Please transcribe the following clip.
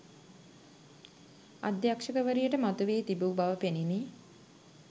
අධ්‍යක්ෂකවරියට මතුවී තිබූ බව පෙණිනි.